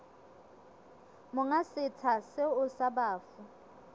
monga setsha seo sa bafu